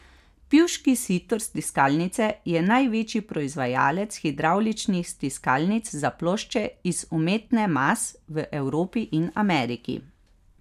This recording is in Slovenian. Pivški Sitor stiskalnice je največji proizvajalec hidravličnih stiskalnic za plošče iz umetne mas v Evropi in Ameriki.